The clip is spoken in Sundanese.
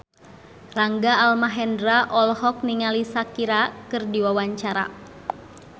Rangga Almahendra olohok ningali Shakira keur diwawancara